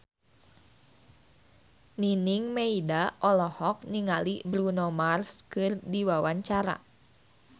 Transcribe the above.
Nining Meida olohok ningali Bruno Mars keur diwawancara